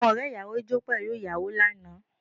Àwọn ọ̀rẹ́ ìyàwó jó pẹ̀lú ìyàwó lánàá